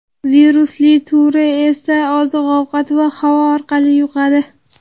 Virusli turi esa oziq-ovqat va havo orqali yuqadi.